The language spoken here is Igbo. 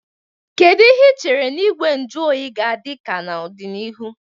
Kedu ihe ị chere na Igwe nju oyi ga-adị ka n'ọdịnihu?